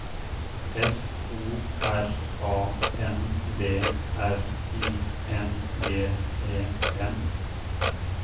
F O R A N D R I N G E N